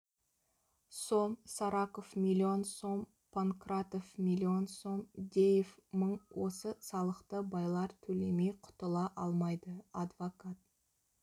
сом сараков миллион сом панкратов миллион сом деев мың осы салықты байлар төлемей құтыла алмайды адвокат